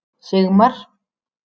Sigmar